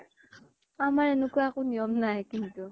আমাৰ এনেকুৱা একো নিয়ম নাই কিন্তু